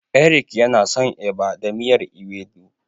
Eric yana son Eba da miyar Ewedu.